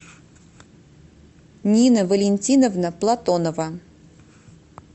нина валентиновна платонова